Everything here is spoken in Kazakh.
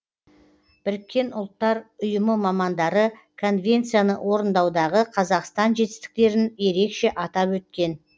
біріккен ұлттар ұйымының мамандары конвенцияны орындаудағы қазақстан жетістіктерін ерекше атап өткен